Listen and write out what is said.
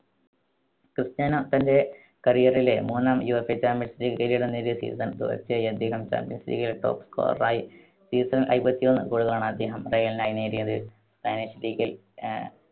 Cristiano തന്റെ career ലെ മൂന്നാം യുവേഫ champions league കിരീടം നേടിയ season തുടർച്ചയായി അദ്ദേഹം champions league ലെ top scorer യി. season ൽ അയ്മ്പത്തിയൊന്ന് goal കളാണ് അദ്ദേഹം റയലിനായി നേടിയത്. സ്പാനിഷ് league ൽ ആഹ്